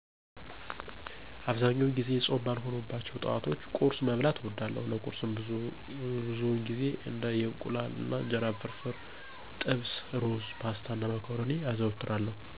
አብዛኛውን ጊዜ ፆም ባልሆኑባቸው ጠዋቶች ቁርስ መብላትን እወዳለሁ። ለቁርስም ብዙውን ጊዜ እንደ የእንቁላል አና እንጀራ ፍርፍር፣ ጥብስ፣ ሩዝ፣ ፓስታ፣ እና መኮረኒ አዘወትራለሁ።